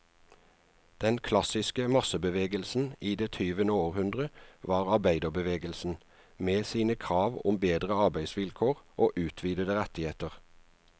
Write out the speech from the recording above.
Den klassiske massebevegelsen i det tyvende århundre var arbeiderbevegelsen, med sine krav om bedre arbeidsvilkår og utvidede rettigheter.